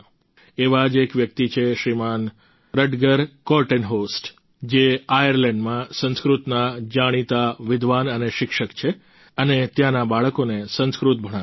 એવા જ એક વ્યક્તિ છે શ્રીમાન રટગર કોર્ટેનહોસ્ટ જે આયરલેન્ડમાં સંસ્કૃતના જાણીતા વિદ્વાન અને શિક્ષક છે અને ત્યાંના બાળકોને સંસ્કૃત ભણાવે છે